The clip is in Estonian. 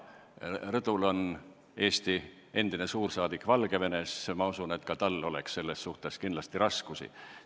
Rõdul on Eesti endine suursaadik Valgevenes, ma usun, et ka temal oleks sellega raskusi.